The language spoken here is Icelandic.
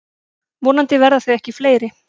Vonandi verða þau ekki fleiri.